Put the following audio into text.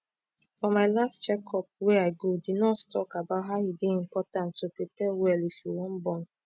for my last check up wey i gothe nurse talk about how e dey important to prepare well if you wan born